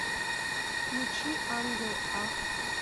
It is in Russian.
включи ангел а